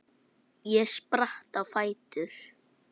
Ég spratt á fætur.